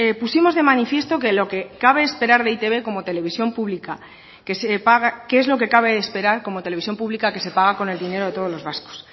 pusimos de manifiesto qué es lo que cabe esperar de e i te be como televisión pública que se paga con el dinero de todos los vascos